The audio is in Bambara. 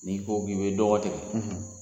N'i ko k'i ye dɔgɔ tigɛ,